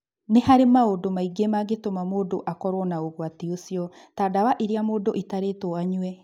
Nĩ harĩ maũndũ maingĩ mangĩtũma mũndũ akorũo na ũgwati ũcio, ta dawa iria mũndũ ĩtarĩtwo anyue